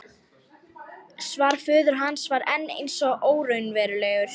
Svar föður hans var enn eins og óraunverulegt.